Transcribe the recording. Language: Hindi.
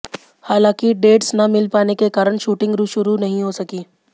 हालांकि डेट्स ना मिल पाने के कारण शूटिंग शुरू नहीं हो सकी